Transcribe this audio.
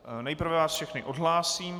Nejprve vás všechny odhlásím.